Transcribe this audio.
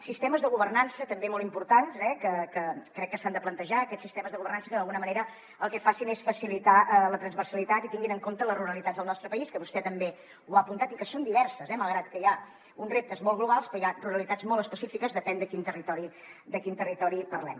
sistemes de governança també molt importants eh crec que s’han de plantejar aquests sistemes de governança que d’alguna manera el que facin és facilitar la transversalitat i tinguin en compte les ruralitats del nostre país que vostè també ho ha apuntat i que són diverses eh malgrat que hi ha uns reptes molt globals hi ha ruralitats molt específiques segons de quin territori parlem